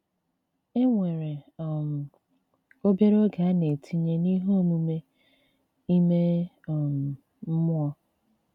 E nwere um obere oge a na-etinye n'ihe omume ime um mmụọ.